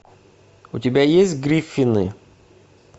у тебя есть гриффины